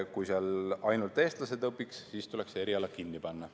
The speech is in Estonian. Kui seal ainult eestlased õpiks, siis tuleks see eriala kinni panna.